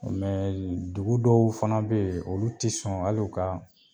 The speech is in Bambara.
Mɛ dugu dɔw fana be ye olu te sɔn al'u ka